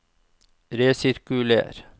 resirkuler